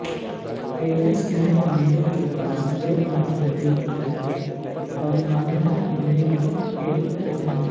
पेरिया नायाकी मंदिर के पास दो अन्य मंदिर हैं मरियम्मान मंदिर व पेरुमाल मंदिर